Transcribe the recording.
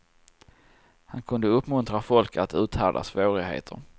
Han kunde uppmuntra folk att uthärda svårigheter.